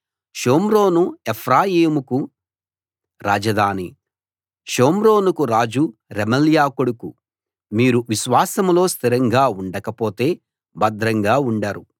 షోమ్రోను ఎఫ్రాయిముకు రాజధాని షోమ్రోనుకు రాజు రెమల్యా కొడుకు మీరు విశ్వాసంలో స్థిరంగా ఉండక పోతే భద్రంగా ఉండరు